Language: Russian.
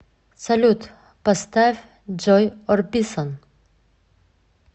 салют поставь джой орбисон